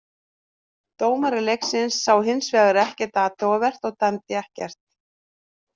Dómari leiksins sá hins vegar ekkert athugavert og dæmdi ekkert.